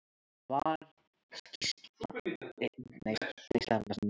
Var skýrsla